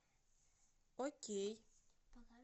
окей